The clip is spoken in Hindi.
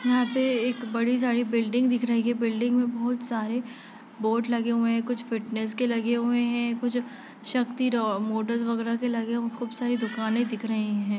यहा पर एक बड़ी सारी बिल्डिंग दिख रही है| बिल्डिंग में बहुत सारे बोर्ड लगे हुए हैं| कुछ फिटनेस के लगे हुए हैं कुछ शक्ति राम मुकेश वगेरा के लगे हुए हैं| बहुत सारी दुकानें दिख रही है।